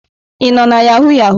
Ị nọ na yahụ yahụ?